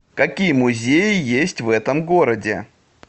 какие музеи есть в этом городе